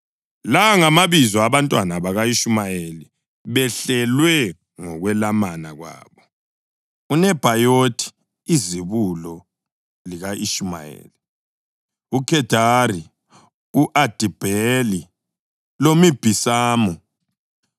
La ngamabizo abantwana baka-Ishumayeli behlelwe ngokwelamana kwabo: uNebhayothi izibulo lika-Ishumayeli, uKhedari, u-Adibheli, loMibhisamu,